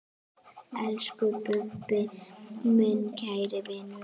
Elsku Bubbi, minn kæri vinur.